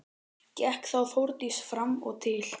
Gekk þá Þórdís fram og til